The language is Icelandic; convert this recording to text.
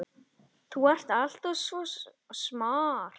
Þú ert alltaf svo smart.